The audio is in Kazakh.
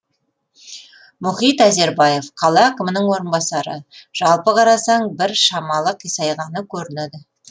мұхит әзербаев қала әкімінің орынбасары жалпы қарасаң бір шамалы қисайғаны көрінеді